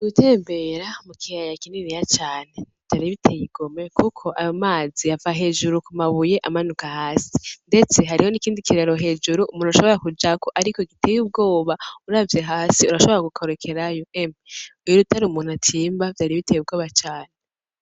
Gutembera mukiyaya kininiya cane vyari biteye igomwe, kuko ayo mazi yava hejuru kumabuye amanuka hasi. Ndetse hariho nikindi kiraro hejuru umuntu ashobora kujako, ariko giteye ubwoba uravye hasi urashobora gukorokerako. Emwe! Utari umuntu atimba vyari biteye ubwoba cane.